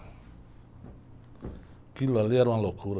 Aquilo ali era uma loucura.